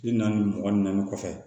Bi naani mugan ni naani kɔfɛ